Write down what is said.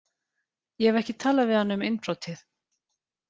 Ég hef ekki talað við hann um innbrotið.